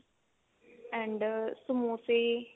and ਸਮੋਸੇ